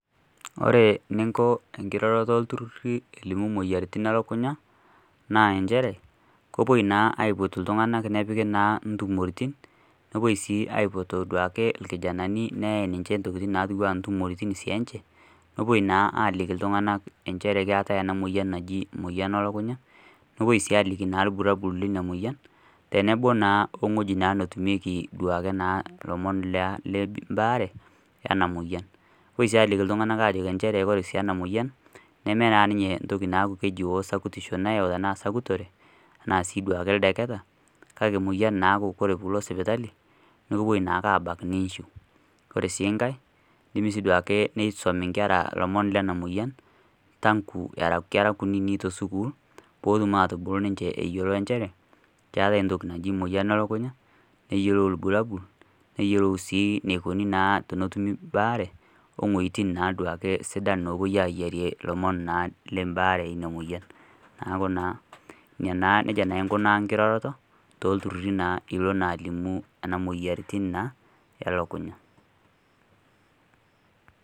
ore eninko oltururi elimu moyiaritin elukunya naa kepoi naa aipot iltunganak nepiki naa intumoritin nepoi aitoduaki ilkijanani, intokitin nepoi naa aliki iltunganak inchere keetae ena moyian naji emoyian elukunya nepoi aliki ilbulabol, tenebo naa eweji netumieki duake naa olomoni le baare lena moyian, nepoi sii aliki iltunganak inchere ore sii ena moyian neme naa esakutisho, tenaa sii ideketa kake emoyian naa ake, naa ekibaki ake nichiu, nisum inkera aakutitik neyiolou enikoni tenetumi ebare neeku nejia naa aikunaa enkiroroto oo mayian too iltururi.